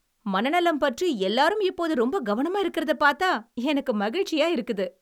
மனநலம் பற்றி எல்லாரும் இப்போது ரொம்ப கவனமா இருக்கிறதைப் பாத்தா எனக்கு மகிழ்ச்சியா இருக்குது.